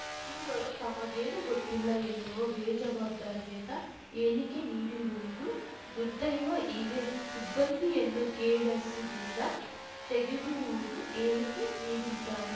ಚಿವರು ತಮಗೇನೂ ಗೊತ್ತಿಲ್ಲ ಎನ್ನುವ ಬೇಜವಾಬ್ದಾರಿಯತ ಹೇಳಿಕೆ ನೀಡಿರುವುದು ದುರ್ದೈವ ಈಗ ಸಿಬ್ಬಂದಿಯನ್ನು ಕೆಳೆಸದಿಂದ ತೆಗೆದಿರುವುದು ಹೇಳಿಕೆ ನೀಡಿದ್ದಾರೆ